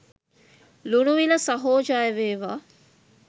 ලුණුවිල සහෝ ජය වේවා